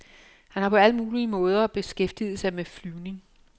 Han har på alle mulige måder beskæftiget sig med flyvning.